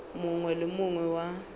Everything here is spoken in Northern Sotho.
mongwe le wo mongwe wa